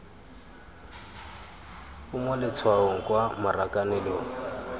o mo letshwaong kwa marakanelong